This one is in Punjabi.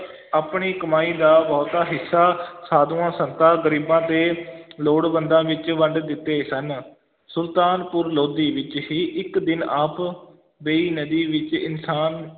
ਆਪਣੀ ਕਮਾਈ ਦਾ ਬਹੁਤਾ ਹਿੱਸਾ ਸਾਧੂਆਂ-ਸੰਤਾਂ, ਗਰੀਬਾਂ ਤੇ ਲੋੜਵੰਦਾਂ ਵਿੱਚ ਵੰਡ ਦਿੱਤੇ ਸਨ, ਸੁਲਤਾਨਪੁਰ ਲੋਧੀ ਵਿੱਚ ਹੀ ਇੱਕ ਦਿਨ ਆਪ ਬੇਈਂ ਨਦੀ ਵਿੱਚ ਇਸ਼ਨਾਨ